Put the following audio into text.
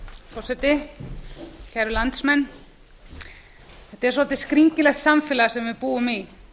forseti kæru landsmenn þetta er svolítið skringilegt samfélag sem við búum í